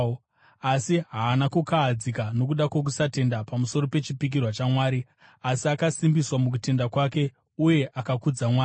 Asi haana kukahadzika nokuda kwokusatenda pamusoro pechipikirwa chaMwari, asi akasimbiswa mukutenda kwake uye akakudza Mwari,